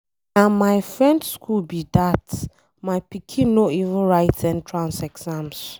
Na my friend school be dat, my pikin no even write entrance exam.